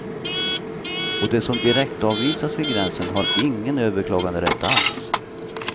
Och de som direktavvisas vid gränsen har ingen överklaganderätt alls.